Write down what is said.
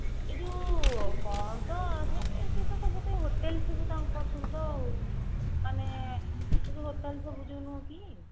ଏଇ ଯୋଉ କଣ ତ ସେ ସେତ ସବୁ ସେଇ hotel ସବୁ ତାଙ୍କର ସବୁ ତ ଆଉ ମାନେ ଏଇ ଯୋଉ hotel ସବୁ ନୁହଁ କି